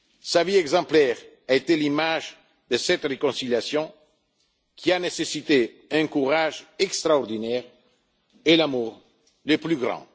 peuples. Sa vie exemplaire a été l'image de cette réconciliation, qui a nécessité un courage extraordinaire et l'amour le plus